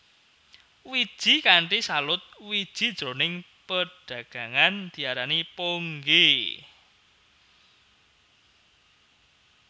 Wiji kanthi salut wiji jroning padagangan diarani ponggè